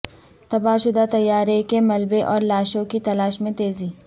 تباہ شدہ طیارے کے ملبے اور لاشوں کی تلاش میں تیزی